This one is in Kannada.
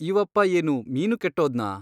ಇವಪ್ಪ ಏನು ಮೀನು ಕೆಟ್ಟೋದನಾ ?